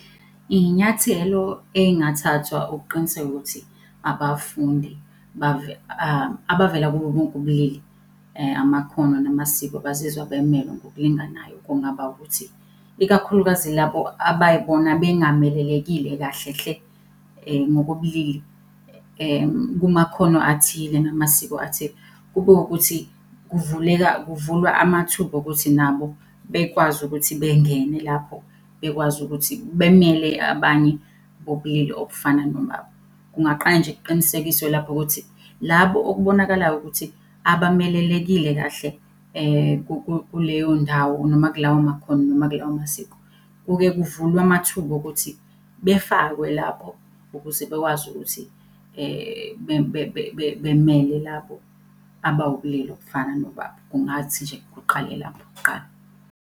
Iy'nyathelo ey'ngathathwa ukuqiniseka ukuthi abafundi abavela kubo bonke ubulili , amakhono namasiko bazizwa bemelwe ngokulinganayo, kungaba ukuthi ikakhulukazi labo abay'bona bengamelelekile kahle hle ngokobulili kumakhono athile namasiko athile. Kube wukuthi kuvuleka, kuvulwa amathuba okuthi nabo bekwazi ukuthi bengene lapho, bekwazi ukuthi bemele abanye bobulili obufana nobabo. Kungaqala nje kuqinisekiswe lapho ukuthi labo okubonakalayo ukuthi abamelelekile kahle, kuleyo ndawo noma kulawo makhono noma kulawo masiko, kuke kuvulwe amathuba okuthi befakwe lapho ukuze bekwazi ukuthi bemele labo abawubulili obufana nobabo. Kungathi nje kuqale lapho kuqala.